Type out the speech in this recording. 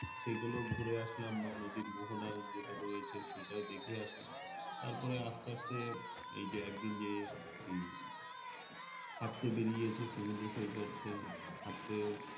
সেগুলো ঘুরে আসলাম বা নদীর মোহনার যেটা রয়েছে সেগুলো দেখে আসলাম। তারপরে আপনার যে এইযে একদিন যে এই হাঁটতে বেরিয়ে এসে সমুদ্রসৈকতে হাঁটতে,